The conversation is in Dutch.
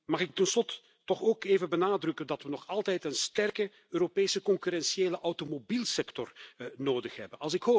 Mag ik tot slot toch ook even benadrukken dat we nog altijd een sterke Europese concurrentiële automobielsector nodig hebben?